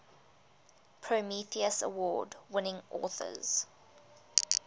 prometheus award winning authors